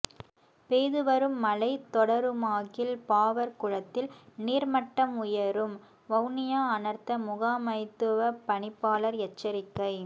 பெய்து வரும் மழை தொடருமாகில் பாவற்குளத்தில் நீர்மட்டம் உயரும் வவுனியா அனர்த்த முகாமைத்துவ பணிப்பாளர் எச்சரிக்கை